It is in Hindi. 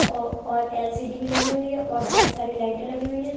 और एल.सी.डी भी लगी हुई है और बहुत सारी लाइट लगी हुई हैं ।